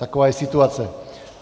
Taková je situace.